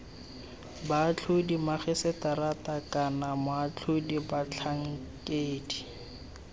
boatlhodi magiseterata kana moatlhodi batlhankedi